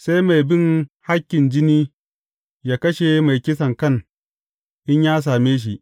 Sai mai bin hakkin jini yă kashe mai kisankan in ya same shi.